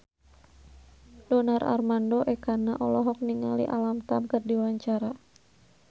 Donar Armando Ekana olohok ningali Alam Tam keur diwawancara